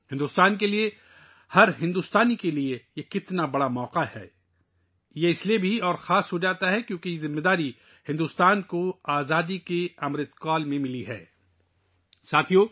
بھارت کے لئے، ہر بھارتی کے لئے کتنا بڑا موقع آیا ہے! یہ اور بھی خاص ہو جاتا ہے کیونکہ آزادی کا امرت کال کے دوران بھارت کو یہ ذمہ داری دی گئی ہے